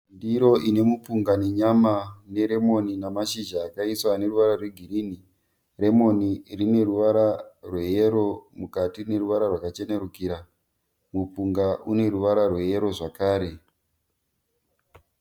Ndiro ine mupunga nenyama neremoni nemashizha akaiswa ane ruravara rwegirinhi. Remoni rine ruravara rweyero mukati rine ruvara rwakachenerukira. Mupunga une ruvara rweyero zvakare.